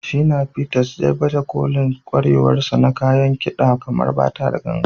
Shina Peters, zai baje kolin ƙwarewarsa na kayan kida kamar bata da ganga.